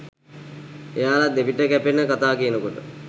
එයාල දෙපිට කැපෙන කතා කියනකොට